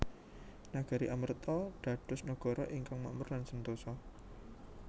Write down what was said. Nagari Amarta dados nagara ingkang makmur lan sentosa